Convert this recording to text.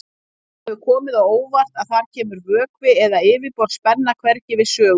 Það hefur komið á óvart að þar kemur vökvi eða yfirborðsspenna hvergi við sögu.